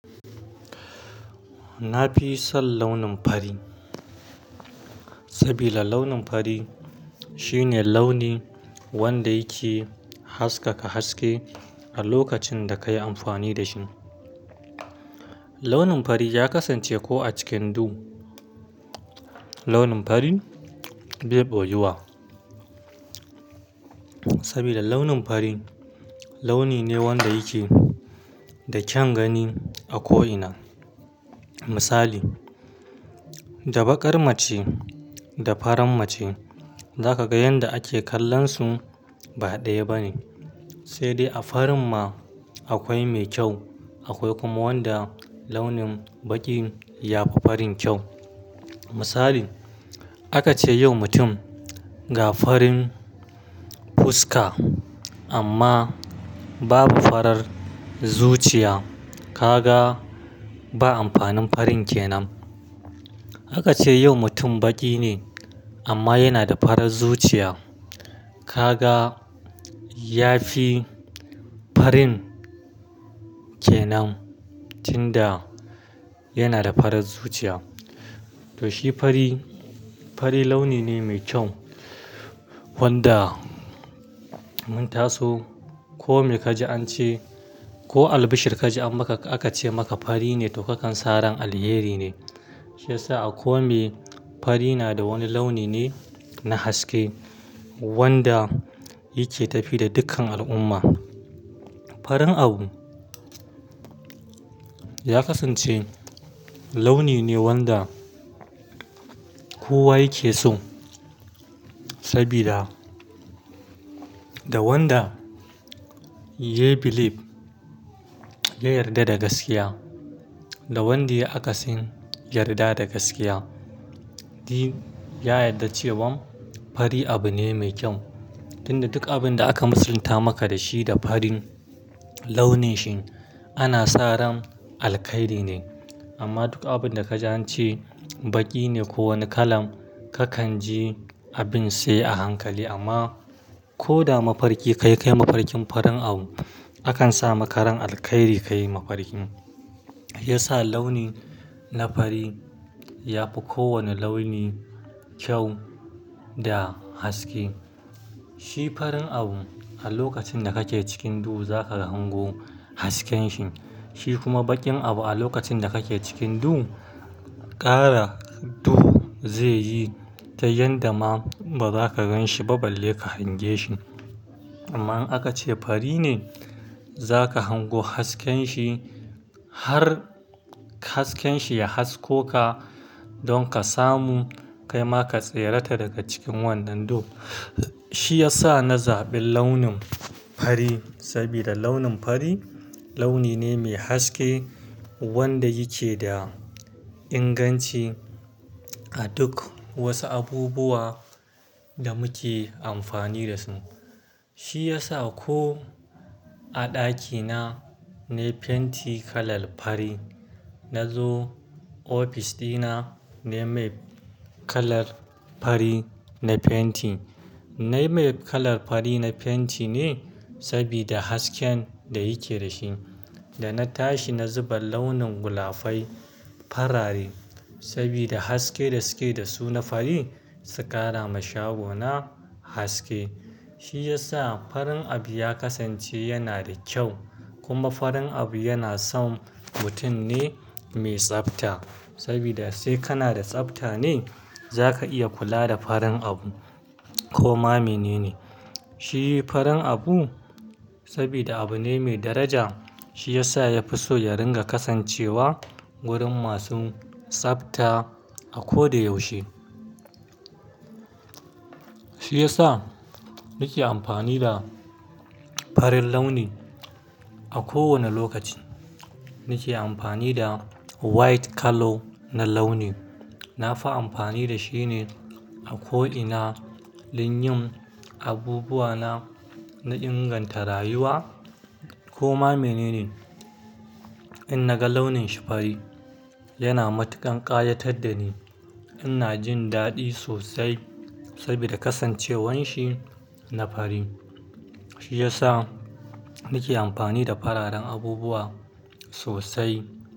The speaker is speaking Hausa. Na fi son launin fari, sabida launin fari shine launi wanda yake haskaka haske a lokacin da ka yi amfani da shi. Launin fari ya kasance ko a cikin duhu. Launin fari bai ɓoyuwa, sabida launin fari launi ne wanda yake da kyan gani a ko'ina. Misali, da baƙar mace da farar mace za ka ga yanda ake kallon su ba ɗaya bane. Sai dai a farin ma akwai mai kyau, akwai kuma wanda launin baƙi ya fi farin kyau. Misali, aka ce yau mutum ga farin fuska amma babu farar zuciya, ka ga ba amfanin farin kenan. Aka ce yau mutum baƙi ne amma yana da farar zuciya, ka ga ya fi farin kenan, tunda yana da farar zuciya. To shi fari, fari launi ne mai kyau wanda mun taso ko me ka ji an ce ko albishir ka ji aka ce maka fari ne to kakan sa ran alheri ne. Shi ya sa a komeye fari na da wani launi ne na haske wanda yake tafiya da dukkan al'umma. Farin abu ya kasance launi ne wanda kowa yake so sabida da wanda yai believe ya yarda da gaskiya, da wanda ya yi akasin yarda da gaskiya, duk ya yarda cewan fari abu ne mai kyau. Tunda duk abin da aka musalta maka da shi da farin launi shi ana sa ran alkhairi ne. Amma duk abin da ka ji an ce baƙi ne ko wani kala ka kan ji abin sai a hankali. Amma ko da mafarki ka yi kai mafarkin farin abu, akan sa maka ran alkhairi ka yi mafarkin. Shi ya sa launi na fari ya fi kowane launi kyau da haske. Shi farin abu a lokacin da kake cikin du za ka gan go hasken shi, shi kuma baƙin abu a lokacin da kake cikin du, ƙara duhu zai yi ta yanda ma baza ka gan shi ba balle ka hange shi. Amma in aka ce fari ne, za ka hango hasken shi har hasken shi ya hasko ka don ka samu kai ma ka tserata daga cikin wannan du. Shi ya sa na zaɓi launin fari sabida launin fari launi ne mai haske wanda yake da inganci a duk wasu abubuwa da muke amfani da su. Shi ya sa ko a ɗakina na yi fenti kalar fari, na zo ofis dina na yi mai kalar fari na fenti. Na yi mai kalar fari na fenti ne sabida hasken da yake da shi. Da na tashi na zuba launin gulafai farare sabida haske da suke da su na fari, su ƙara ma shago na haske. Shi ya sa farin abu ya kasance yana da kyau kuma farin abu yana son mutum ne mai tsafta sabida sai kana da tsafta ne za ka iya kula da farin abu ko ma menene. Shi farin abu sabida abu ne mai daraja, shi ya sa ya fi so ya ringa kasancewa wurin masu tsafta a ko da yaushe. Shi ya sa nake amfani da farin launi a kowane lokaci. Nake amfani da white colour na launi. Na fi amfani da shi ne a ko'ina, lin yin abubuwa na, na inganta rayuwa ko ma menene. In na ga launin shi fari, yana matuƙan ƙayatar da ni. Ina jin daɗi sosai sabida kasancewan shi na fari. Shi ya sa nake amfani da fararen abubuwa sosai.